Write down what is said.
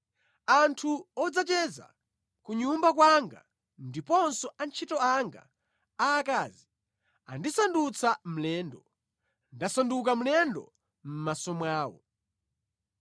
Anthu odzacheza ku nyumba kwanga ndiponso antchito anga aakazi andisandutsa mlendo; ndasanduka mlendo mʼmaso mwawo.